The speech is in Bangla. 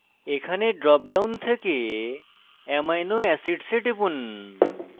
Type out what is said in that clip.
এখানে drop down থেকে amino acids এ টিপুন